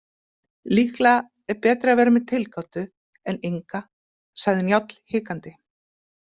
Líklega er betra að vera með tilgátu en enga, sagði Njáll hikandi.